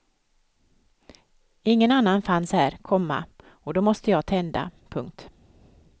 Ingen annan fanns här, komma och då måste jag tända. punkt